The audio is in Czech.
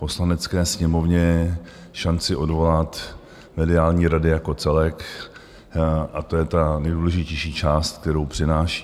Poslanecké sněmovně šanci odvolat mediální rady jako celek, a to je ta nejdůležitější část, kterou přináší.